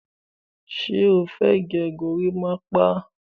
Ṣé o fẹ́ gẹ gorímápá?